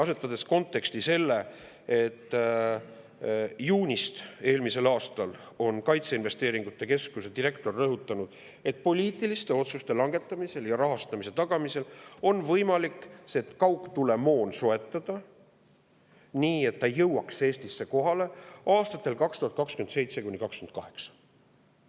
Arvestame seda konteksti, et alates eelmise aasta juunist on kaitseinvesteeringute keskuse direktor rõhutanud, et poliitiliste otsuste langetamise ja rahastamise tagamise korral on võimalik see kaugtulemoon soetada nii, et see jõuaks Eestisse kohale aastatel 2027–2028.